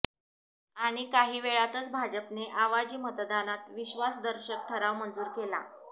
आणि काहीवेळातच भाजपने आवाजी मतदानात विश्वासदर्शक ठराव मंजूर केला